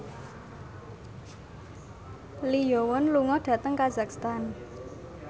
Lee Yo Won lunga dhateng kazakhstan